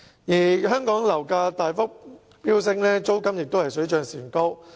近年香港樓價大幅飆升，租金亦水漲船高。